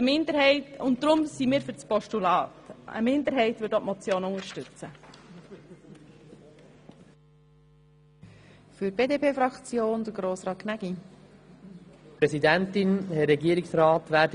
Deshalb sind wir für das Postulat, während eine Minderheit auch die Motion unterstützt.